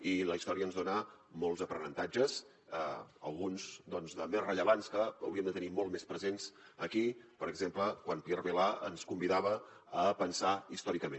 i la història ens dona molts aprenentatges alguns de més rellevants que hauríem de tenir molt més presents aquí per exemple quan pierre vilar ens convidava a pensar històricament